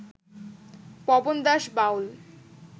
Pawan Das Baul